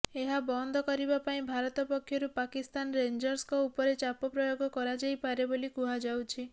ଏହା ବନ୍ଦ କରିବା ପାଇଁ ଭାରତ ପକ୍ଷରୁ ପାକିସ୍ତାନ ରେଞ୍ଜର୍ସଙ୍କ ଉପରେ ଚାପ ପ୍ରୟୋଗ କରାଯାଇପାରେ ବୋଲି କୁହାଯାଉଛି